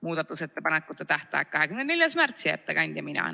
Muudatusettepanekute tähtaeg on 24. märts ja ettekandja olen mina.